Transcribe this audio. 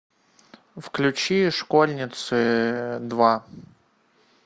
включи школьницы два